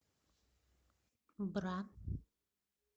бра